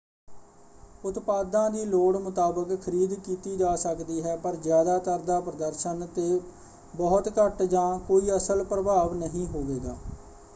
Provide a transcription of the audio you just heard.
ਉਤਪਾਦਾਂ ਦੀ ਲੋੜ ਮੁਤਾਬਕ ਖਰੀਦ ਕੀਤੀ ਜਾ ਸਕਦੀ ਹੈ ਪਰ ਜ਼ਿਆਦਾਤਰ ਦਾ ਪ੍ਰਦਰਸ਼ਨ 'ਤੇ ਬਹੁਤ ਘੱਟ ਜਾਂ ਕੋਈ ਅਸਲ ਪ੍ਰਭਾਵ ਨਹੀਂ ਹੋਵੇਗਾ।